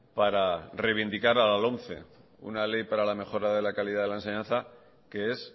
para reivindicar a la lomce una ley para la mejora de la calidad en la enseñanza que es